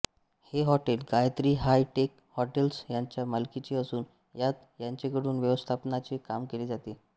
हे hotel Gayatri high tech hotels यांच्या मालकीचे असून हयात यांचेकडून व्यवस्थापनाचे काम केले जाते